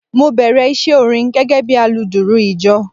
Mo bèrè iṣẹ́ orin gẹ́gẹ́ bí aludùrù ìjọ.